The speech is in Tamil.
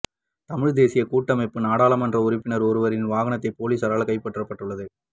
தழிழ் தேசிய கூட்டமைப்பு நாடாளுமன்ற உறுப்பினர் ஒருவரின் வாகனம் பொலிசாரால் கைப்பற்றப்பட்டுள்ளது